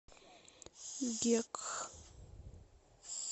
гекк